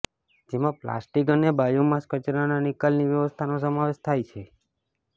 જેમાં પ્લાસ્ટિક અને બાયોમાસ કચરાના નિકાલની વ્યવસ્થાનો સમાવેશ થાય છે